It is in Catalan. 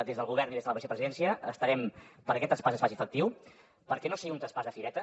des del govern i des de la vicepresidència estarem perquè aquest traspàs es faci efectiu perquè no sigui un traspàs de fireta